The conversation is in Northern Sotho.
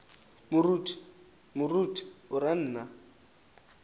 moruti moruti o ra nna